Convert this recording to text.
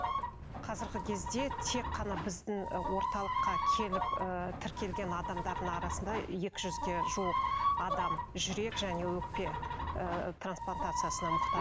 қазіргі кезде тек қана біздің ы орталыққа келіп ыыы тіркелген адамдардың арасында екі жүзге жуық адам жүрек және өкпе ыыы трансплантациясына